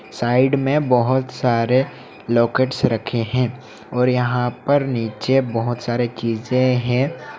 Side में बहोत सारे लॉकेट्स रखे हैं और यहां पर नीचे बहोत सारे चीजें हैं।